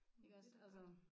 Iggås altså